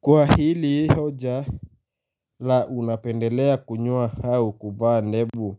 Kwa hili hoja la unapendelea kunyoa au kuvaa ndevu,